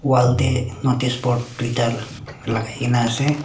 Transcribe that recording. wall tae noticeboard tuita lakai kaenaase.